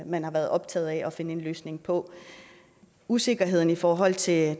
man har været optaget af at finde en løsning på usikkerheden i forhold til